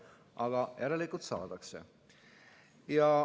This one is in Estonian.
Aga järelikult saadakse.